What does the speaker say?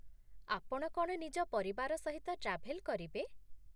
ଆପଣ କ'ଣ ନିଜ ପରିବାର ସହିତ ଟ୍ରାଭେଲ୍ କରିବେ?